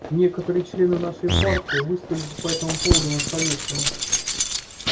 некоторые члены нашей партии высказались по этому поводу на совете